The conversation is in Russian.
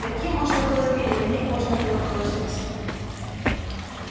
таким можно было верить на них можно было положиться